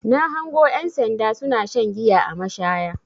Na hango ƴan sanda suna shan giya a mashaya.